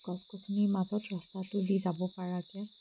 গছ-গছনিৰ মাজত ৰাস্তাটোদি যাব পাৰাকে--